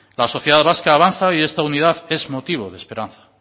la sociedad vasca avanza y esta unidad es motivo de esperanza